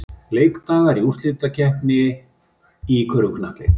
Leikdagar í úrslitakeppninni í körfuknattleik